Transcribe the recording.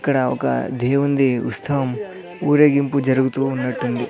ఇక్కడ ఒక దేవునిది ఉత్సవం ఊరేగింపు జరుగుతూ ఉన్నట్టు ఉంది.